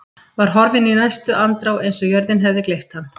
Var horfinn í næstu andrá eins og jörðin hefði gleypt hann.